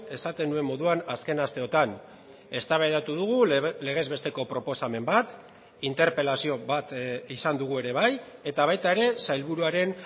esaten nuen moduan azken asteotan eztabaidatu dugu legez besteko proposamen bat interpelazio bat izan dugu ere bai eta baita ere sailburuaren